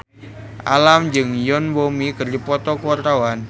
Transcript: Alam jeung Yoon Bomi keur dipoto ku wartawan